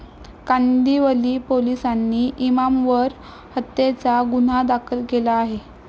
कांदिवली पोलिसांनी इमामवर हत्येचा गुन्हा दाखल केला आहे.